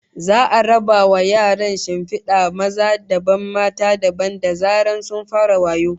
Za'a raba wa yaran shinfida maza dabam mata dabam da zaran sun fara wayo